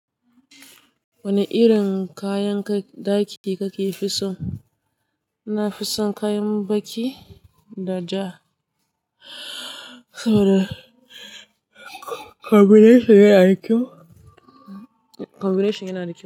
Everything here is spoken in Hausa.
Wani irin kayan daki kake fi so? Nafison kayan baki da ja saboda. Combination yana da kyau.